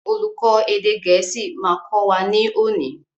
Olùkó èdè gẹ̀ẹ́sì ma kọ́ wa ní òní.